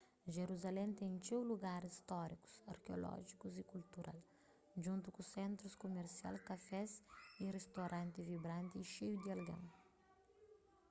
jerusalén ten txeu lugaris stórikus arkeolójikus y kultural djuntu ku sentrus kumersial kafés y ristoranti vibranti y xeiu di algen